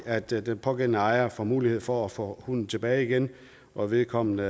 at den pågældende ejer får mulighed for at få hunden tilbage igen når vedkommende